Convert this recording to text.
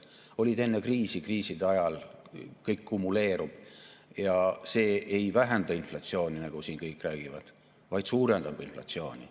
Need olid enne kriisi, kriiside ajal kõik kumuleerub ja see ei vähenda inflatsiooni, nagu siin kõik räägivad, vaid suurendab inflatsiooni.